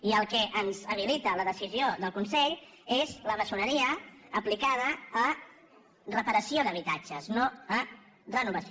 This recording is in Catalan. i el que ens habilita la decisió del consell és la maçoneria aplicada a reparació d’habitatges no a re·novació